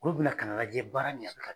Olu bɛna ka na lajɛ baara ɲanna.